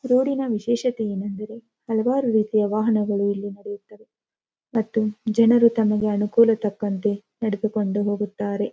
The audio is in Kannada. ರೋಡಿ ನ ವಿಶೇಷತೆ ಏನಂದ್ರೆ ಹಲವಾರು ರೀತಿಯ ವಾಹನಗಳು ಇಲ್ಲಿ ನಡೆಯುತ್ತದೆ ಮತ್ತು ಜನರು ತಮಗೆ ಅನುಕೂಲ ತಕ್ಕ್ನತೆ ನಡೆದುಕೊಂಡು ಹೋಗುತ್ತಾರೆ.